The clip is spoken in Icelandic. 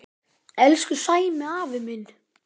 Elsku Sæmi afi minn.